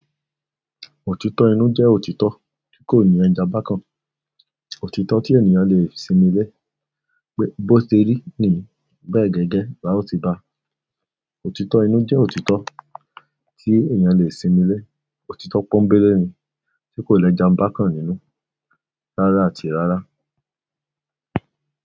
Òtítọ́ inú jẹ́ òtítọ́ tí kò ní ẹja bákan. Òtítọ́ tí ènìyàn lè sinmi lé, pe, bó ti rí ni bẹ́ẹ̀ gẹ́gẹ́ lá ò ti ba. Òtítọ́ ẹni jẹ́ òtítọ́ tí èèyàn lè sinmi lé òtítọ́ pọ́ńbélé ni, ti kò lejanbakan nínú, rárá àti rárá.